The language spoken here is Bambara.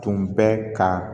Tun bɛ ka